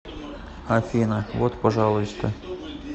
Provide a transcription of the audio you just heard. афина вот пожалуйста